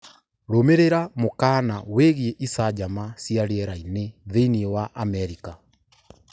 Rũmĩrĩra mũkaana wĩgiĩ icanjama cia rĩera-inĩ thĩinĩ wa Amerika